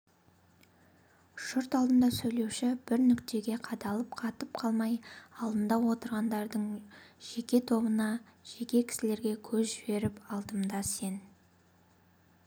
жұрт алдында сөйлеуші бір нүктеге қадалып қатып қалмай алдында отырғандардың жеке тобына жеке кісілерге көз жіберіп алдымда сен